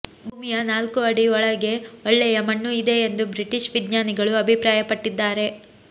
ಭೂಮಿಯ ನಾಲ್ಕು ಅಡಿ ಒಳಗೆ ಒಳ್ಳೆಯ ಮಣ್ಣು ಇದೆ ಎಂದು ಬ್ರಿಟಿಷ್ ವಿಜ್ಞಾನಿಗಳು ಅಭಿಪ್ರಾಯ ಪಟ್ಟಿದ್ದಾರೆ